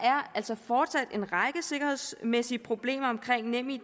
altså fortsat en række sikkerhedsmæssige problemer omkring nemid